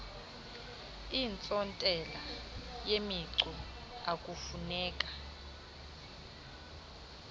iintsontela yemicu akufuneka